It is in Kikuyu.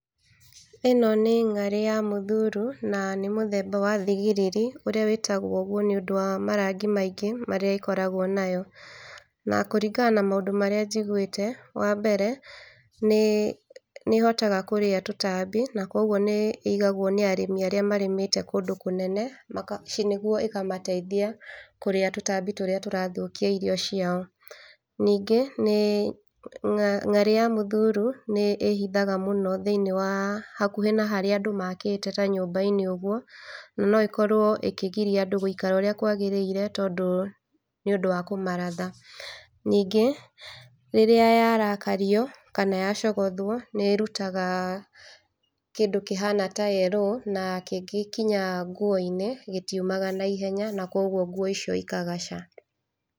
Ĩno nĩ ng'arĩ ya mũthuuru na nĩ mũthemba wa thigiriri ũrĩa wĩtagwo ũguo nĩũndũ wa marangi maingĩ marĩa ĩkorawo nayo. Na kũringana na maũndũ marĩa njiguĩte, wambere nĩ, nĩ ĩhotaga kũrĩa tũtambi na koguo nĩ ĩigagwo nĩ arĩmi arĩa marĩmĩte kũndũ kũnene maka, ci, nĩguo ĩkamateithia kũrĩa tũtambi tũrĩa tũrathũkia irio ciao. Ningĩ nĩ ng'arĩ ya mũthuuru nĩ ĩhithaga mũno thĩiniĩ wa hakuhĩ na harĩa andũ makĩte ta nyũmba-inĩ ũguo, na no ĩkorwo ĩkĩgiria andũ gũikara ũrĩa kwagĩrĩire tondũ, nĩũndũ wa kũmaratha. Ningĩ rĩrĩa yarakario kana yacogothwo nĩ ĩrutaga kĩndũ kĩhana ta yerũũ, na kĩngĩ kinya nguo-inĩ gĩtiumaga naihenya na kwoguo nguo icio ikagaca.